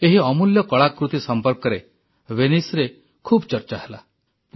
ଏହି ଅମୂଲ୍ୟ କଳାକୃତ୍ତି ସମ୍ପର୍କରେ Veniceରେ ଖୁବ ଚର୍ଚ୍ଚା ହେଲା